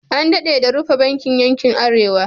An daɗe da rufe bankin yankin Arewa.